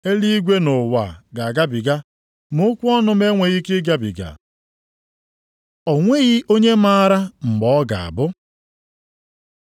Eluigwe na ụwa ga-agabiga, ma okwu m enweghị ike ịgabiga. O nweghị onye maara mgbe ọ ga-abụ